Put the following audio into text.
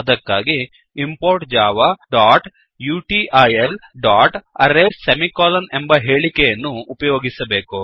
ಅದಕ್ಕಾಗಿ ಇಂಪೋರ್ಟ್ javautilಅರೇಸ್ ಸೆಮಿಕೋಲನ್ ಎಂಬ ಹೇಳಿಕೆಯನ್ನು ಉಪಯೋಗಿಸಬೇಕು